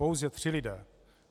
Pouze tři lidé!